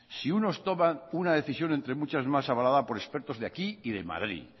si unos toman una decisión entre muchas más avalada por expertos de aquí y de madrid